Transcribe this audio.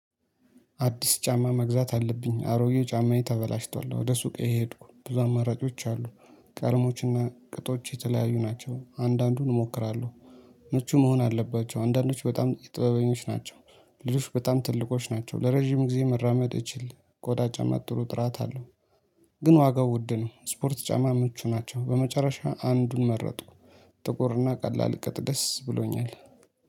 አዲስ ጫማ መግዛት አለብኝ አሮጌው ጫማዬ ተበላሽቷል ወደ ሱቅ የሄድኩ ብዙ አማራጮች አሉ። ቀርሞችና ቅጦች የተለያዩ ናቸው አንዳንዱን እሞክራለሁ። ምቹ መሆን አለባቸው አንዳንዶች በጣም ጥበበኞች ናቸው። ልዑሽ በጣም ትልቆች ናቸው ለረጅም ጊዜ መራመድ እችል ከወዳጅ አማጥሩ ጥራት አለው። ግን ዋጋው ውድ ነው። ስፖርት ጫማ ምቹ ናቸው በመጨረሻ አንዱን መረጥኩ። ጥቁርና ቀላል ቅጥጥ ደስ ብሎኛል